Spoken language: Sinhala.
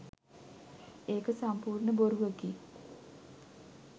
ඒක සම්පූර්ණ බොරුවකි.